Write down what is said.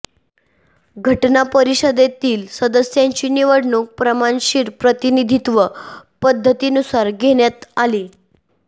घटना परिषदेतील सदस्यांची निवडणूक प्रमाणशीर प्रतिनिधित्व पद्धतीनुसार घेण्यात आली